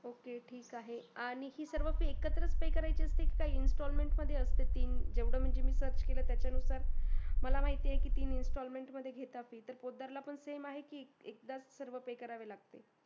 Ok ठीकआहे fees अकत्र पे करायचे असते का installment मध्ये तयाचा अनुसार मला माहीती आहे की ती installement मध्ये घेताततर पोतदारला पण सेम आहे की एकदाच भरावी लागते